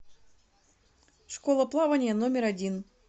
школа плавания номер один